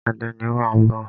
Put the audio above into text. Àdénì wa ń bọ̀.